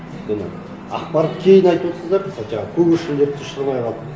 өйткені ақпарат кейін айтып отырсыздар жаңағы көгершіндерді де ұшырмай қалды